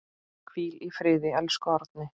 Hvíl í friði, elsku Árni.